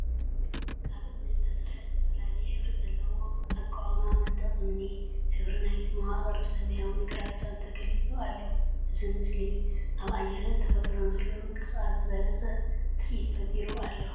ካብ እምኒ ዝተሰርሐ ዝተፈላለየ ሕብሪ ዘለዎ ኣቃውማ መንድቕ እምኒ፣ ሕብሪ ናይቲ መዋቕር ብሰማያውን ግራጭን ተገሊጹ ኣሎ። እዚ ምስቲ ኣብ ኣየርን ተፈጥሮን ዘሎ ምንቅስቓስን ዝበለጸ ትርኢትን ፈጢሩ ኣሎ።